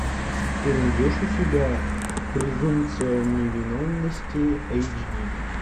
ты найдешь у себя презумпция невиновности эйч ди